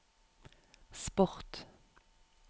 sport